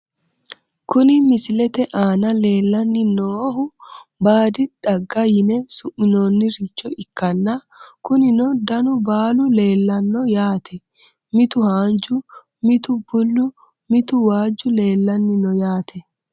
Kuni misilete aana leellanni noohu baadi xagga yine su'minoonniricho ikkanna, kunino danu baalu leellanno yaate, mitu haanju, mitu bullu, mitu waajju leellanni no yaate.